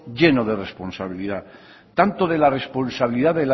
lleno de responsabilidad tanto de la responsabilidad